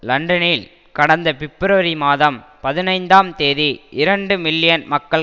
லண்டனில் கடந்த பிப்ரவரி மாதம் பதினைந்தாம் தேதி இரண்டு மில்லியன் மக்கள்